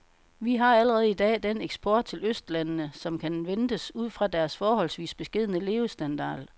Vi har allerede i dag den eksport til østlandene, som kan ventes ud fra deres forholdsvis beskedne levestandard.